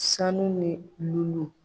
Sanu ni lulu